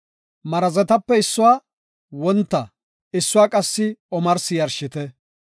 Marazetape issuwa wonta issuwa qassi omarsi yarshite.